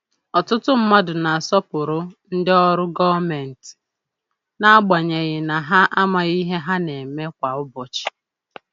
Ọtụtụ mmadụ na-asọpụrụ ndị ọrụ gomenti, n’agbanyeghị na ha amaghị ihe ha na-eme kwa ụbọchị.